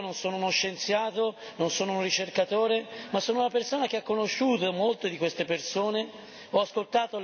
Io non sono un medico, non sono uno scienziato, non sono un ricercatore, ma sono una persona che ha conosciuto molte di queste persone.